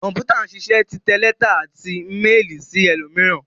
Kọ̀m̀pútà ṣiṣẹ́ títẹ lẹ́tà àti méélì sí ẹlòmíràn.